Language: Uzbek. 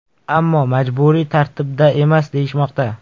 Ammo majburiy tartibda emas deyishmoqda.